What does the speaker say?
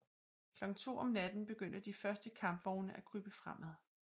Klokken 2 om natten begyndte de første kampvogne at krybe fremad